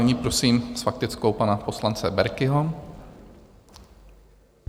Nyní prosím s faktickou pana poslance Berkiho.